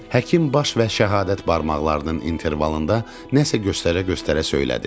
Həkim baş və şəhadət barmaqlarının intervalında nəsə göstərə-göstərə söylədi.